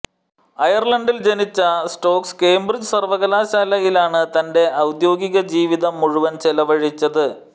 അയർലണ്ടിൽ ജനിച്ച Stokes Cambridge സർവ്വകലാശാലയിലാണ് തന്റെ ഔദ്യോഗിക ജീവിതം മുഴുവൻ ചെലവഴിച്ചത്